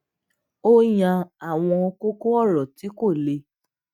ó yan àwọn kókó òrò tí kò le